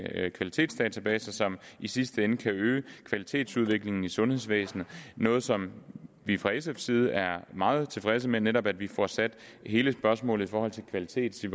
kvalitetsdatabaser som i sidste ende kan øge kvalitetsudviklingen i sundhedsvæsen noget som vi fra sfs side er meget tilfredse med netop at vi får sat hele spørgsmålet i forhold til kvalitet